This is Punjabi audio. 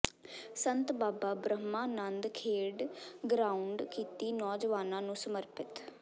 ਸੰਤ ਬਾਬਾ ਬ੍ਰਹਮਾ ਨੰਦ ਖੇਡ ਗਰਾਊਾਡ ਕੀਤੀ ਨੌਜਵਾਨਾਂ ਨੂੰ ਸਮਰਪਿਤ